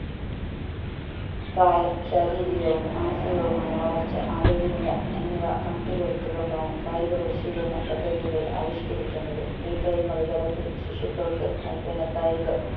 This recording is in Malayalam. പ്രായം ശാരീരികവും മാനസികവുമായ വളർച്ച ആരോഗ്യനില എന്നിവ കണക്കിലെടുത്തുകൊണ്ടാണ് കായിക പരിശീലന പദ്ധതികൾ ആവിഷ്‌കരിക്കുന്നത് pre primary തലത്തിൽ ശിശുക്കൾക്ക് നൽകുന്ന കായിക